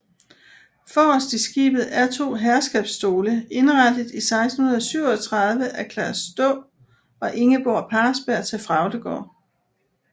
Forrest i skibet er to herskabsstole indrettet 1637 af Claus Daa og Ingeborg Parsberg til Fraugdegård